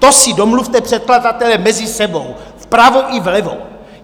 To si domluvte, předkladatelé, mezi sebou, vpravo i vlevo!